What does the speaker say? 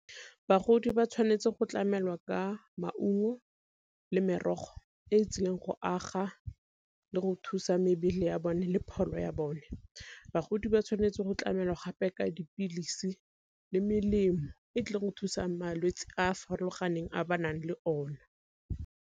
Bagodi ba tshwanetse go tlamelwa ka maungo le merogo e e tsileng go aga le go thusa mebele ya bone le pholo ya bone. Bagodi ba tshwanetse go tlamelwa gape ka dipilisi le melemo e tlileng go thusang malwetse a a farologaneng a ba nang le ona.